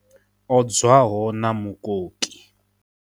Odzwaho na mukoki.